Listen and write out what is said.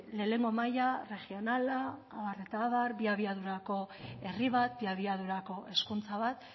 lehenengo maila regionala abar eta abar bi abiadurako herri bat bi abiadurako hezkuntza bat